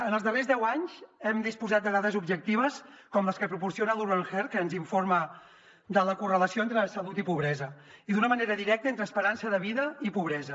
en els darrers deu anys hem disposat de dades objectives com les que proporciona urban heart que ens informa de la correlació entre salut i pobresa i d’una manera directa entre esperança de vida i pobresa